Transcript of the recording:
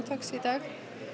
talks í dag